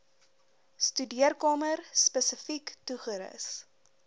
studeerkamer spesifiek toegerus